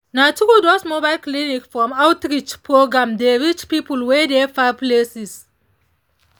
na true those mobile clinics from outreach programs dey reach people wey dey far places.